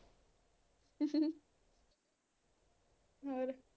ਹੋਰ